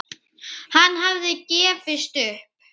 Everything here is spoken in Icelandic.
Hann hafði gefist upp.